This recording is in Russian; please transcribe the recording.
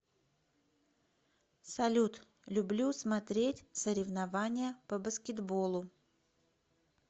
салют люблю смотреть соревнования по баскетболу